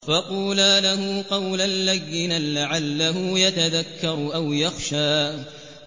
فَقُولَا لَهُ قَوْلًا لَّيِّنًا لَّعَلَّهُ يَتَذَكَّرُ أَوْ يَخْشَىٰ